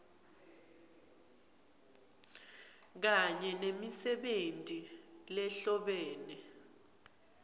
kanye nemisebenti lehlobene